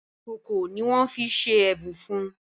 Ìkòkò ní wón fí ṣe ẹbùn fún.